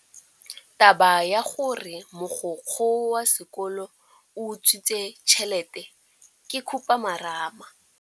Taba ya gore mogokgo wa sekolo o utswitse tšhelete ke khupamarama.